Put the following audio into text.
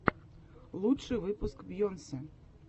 лучший выпуск бейонсе